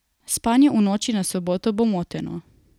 Spanje v noči na soboto bo moteno.